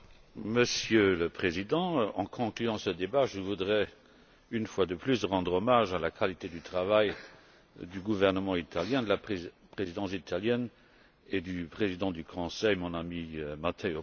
Monsieur le Président, en conclusion de ce débat, je voudrais, une fois de plus, rendre hommage à la qualité du travail du gouvernement italien, de la Présidence italienne et du président du Conseil, Matteo Renzi.